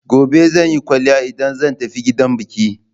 Gobe zan yi kwaliya idan zan tafi gidan biki.